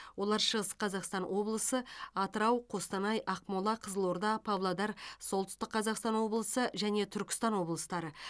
олар шығыс қазақстан облысы атырау қостанай ақмола қызылорда павлодар солтүстік қазақстан облысы және түркістан облыстары